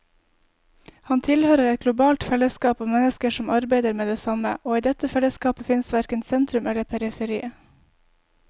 Han tilhører et globalt fellesskap av mennesker som arbeider med det samme, og i dette fellesskapet fins verken sentrum eller periferi.